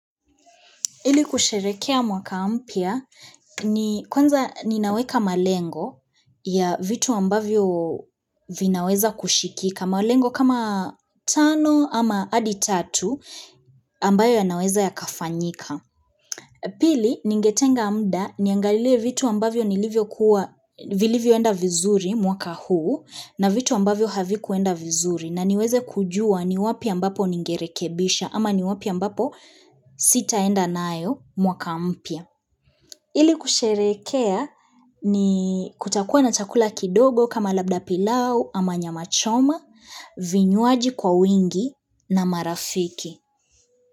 Ili kusherehekea mwaka mpya ni kwanza ninaweka malengo ya vitu ambavyo vinaweza kushikika. Malengo kama tano ama hadi tatu ambayo yanaweza yakafanyika. Pili, ningetenga muda niangalie vitu ambavyo nilivyokuwa, vilivyoenda vizuri mwaka huu na vitu ambavyo havikuenda vizuri. Na niweze kujua ni wapi ambapo ningerekebisha ama ni wapi ambapo sitaenda naYo mwaka mpya. Ili kusherehekea ni kutakuwa na chakula kidogo kama labda pilau ama nyama choma, vinywaji kwa wingi na marafiki.